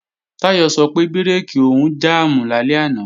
Táyọ̀ sọ pé bírèkì òun jàmù lálẹ́ àná